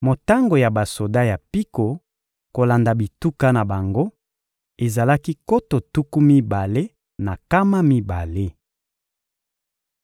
Motango ya basoda ya mpiko, kolanda bituka na bango, ezalaki nkoto tuku mibale na nkama mibale.